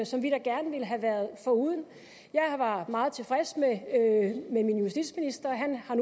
som vi da gerne ville have været foruden jeg var meget tilfreds med min justitsminister